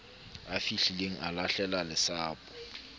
ya fihlileng a lahlela lesapo